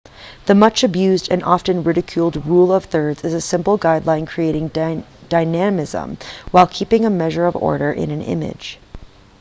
the much-abused and often-ridiculed rule of thirds is a simple guideline creating dynamism while keeping a measure of order in an image